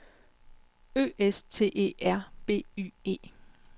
Ø S T E R B Y E